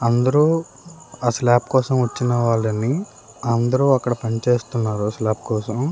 అందరూ ఆ స్లాబ్ కోసం వచ్చిన వాళ్లే అండి అందరూ పనిచేస్తున్నారు ఆ స్లాబ్ కోసం